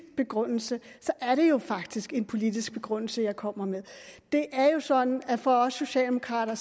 begrundelse er det jo faktisk en politisk begrundelse jeg kommer med det er jo sådan at for os socialdemokrater